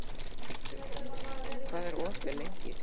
Arthur, hvað er opið lengi í Tríó?